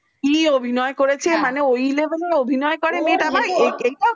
কি অভিনয় করেছে মানে ও level র অভিনয় করে মানেটা মেয়ে ও ও